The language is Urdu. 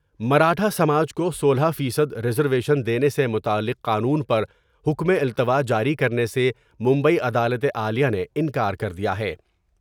مراٹھاسماج کو سولہ فیصد ریزرویشن دینے سے متعلق قانون پرحکمے التواء جاری کرنے سے مبئی عدالت عالیہ نے انکار کر دیا ہے ۔